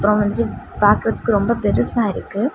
அப்பறம் வந்து பாக்குறதுக்கு ரொம்ப பெருசா இருக்கு.